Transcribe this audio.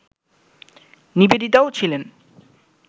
নিবেদিতাও ছিলেন